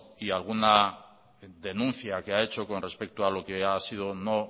y alguna denuncia que ha hecho con respecto a lo que ha sido o no